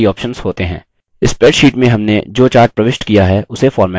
spreadsheet में हमने जो chart प्रविष्ट किया है उसे format करें